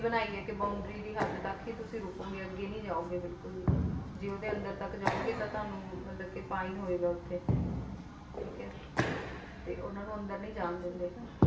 ਬਣਾਈ ਆ ਕੇ boundary ਦੀ ਹੱਦ ਤੱਕ ਹੀ ਤੁਸੀ ਰੁਕੋਂਗੇ ਅੱਗੇ ਨਹੀਂ ਜਾਓਗੇ ਬਿਲਕੁਲ ਵੀ ਜੇ ਉਹਦੇ ਅੰਦਰ ਤੱਕ ਜਾਓਂਗੇ ਤਾਂ ਤੁਹਾਨੂੰ ਮਤਲਬ ਕੇ fine ਹੋਵੇਗਾ ਉਸ ਤੇ ਠੀਕ ਐ ਤੇ ਉਹਨਾਂ ਨੂੰ ਅੰਦਰ ਨਹੀਂ ਜਾਣ ਦਿੰਦੇ।